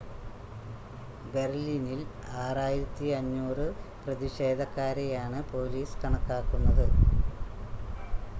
ബെർലിനിൽ 6,500 പ്രതിഷേധക്കാരെയാണ് പോലീസ് കണക്കാക്കുന്നത്